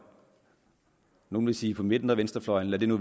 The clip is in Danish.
nogle vil sige på midten af venstrefløjen lad det nu